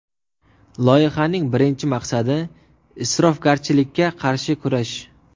Loyihaning birinchi maqsadi – isrofgarchilikka qarshi kurash.